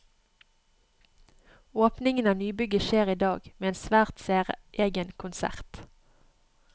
Åpningen av nybygget skjer i dag, med en svært særegen konsert.